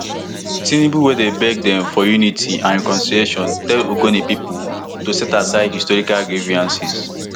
tinubu wey dey beg dem for unity and reconciliation tell ogoni pipo to set aside historical grievances